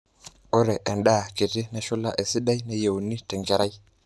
ore endaa kiti nashula esidai neyieuni tenkerai